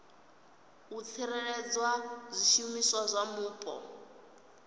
u tsireledza zwishumiswa zwa mupo